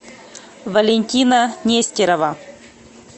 валентина нестерова